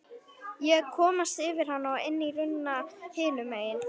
Ég komst yfir hana og inn í runna hinum megin.